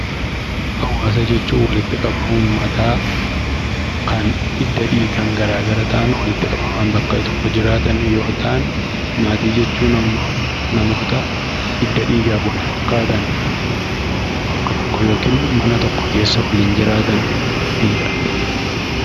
Hawaasa jechuun walitti qabama uummataa kan hidda dhiigaan garaa gara ta'an waitti qabamaan bakka tokko jiraatan yoo ta'an, maatii jechuun ammoo namoota hidda dhiigaan wal fakkaatan bakka tokko yookiin mana tokko keessa waliin jiraatanidha.